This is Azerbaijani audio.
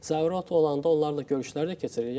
Zaur ot olanda onlarla görüşlər də keçiririk.